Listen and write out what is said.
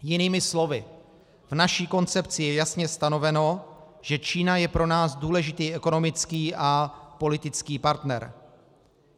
Jinými slovy, v naší koncepci je jasně stanoveno, že Čína je pro nás důležitý ekonomický a politický partner.